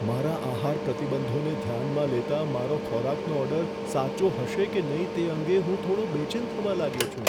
મારા આહાર પ્રતિબંધોને ધ્યાનમાં લેતા, મારો ખોરાકનો ઓર્ડર સાચો હશે કે નહીં તે અંગે હું થોડો બેચેન થવા લાગ્યો છું.